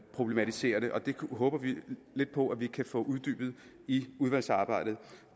problematiserer det og det håber vi lidt på at vi kan få uddybet i udvalgsarbejdet